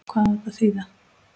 Hvað á þetta að þýða!